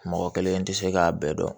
Mɔgɔ kelen tɛ se k'a bɛɛ dɔn